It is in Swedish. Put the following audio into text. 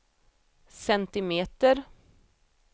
centimeter